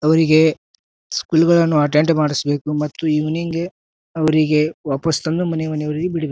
ಅವ್ರಿಗೆ ಸ್ಕೂಲ್ ನವರು ಅಟೆಂಡ್ ಮಾಡ್ಸಬೇಕು ಮತ್ತು ಇವಿನಿಂಗ್ ಗೆ ಅವ್ರಿಗೆ ವಾಪಸ್ ತಂದು ಮನೆ ಮನೆವರೆಗೂ ಬಿಡಬೇ--